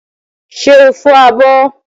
Ṣé o fọ abọ́?